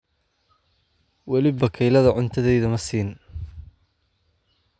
Wali bakeyladha cuntadheydha maasin.